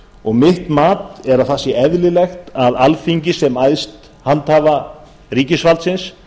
og mitt mat er að það sé eðlilegt að alþingi sem æðst handhafa ríkisvaldsins